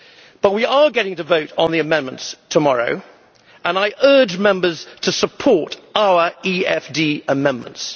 But we are getting to vote on the amendments tomorrow, and I urge Members to support our EFD amendments.